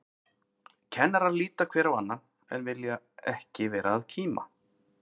Kennarar líta hver á annan, en vilja ekki vera að kíma.